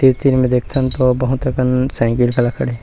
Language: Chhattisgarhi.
तीर-तीर में देखथन तो बहुत अकन साइकिल घला खड़े--